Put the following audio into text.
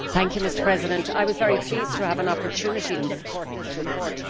Mr President, I was very pleased to have an opportunity to support this report.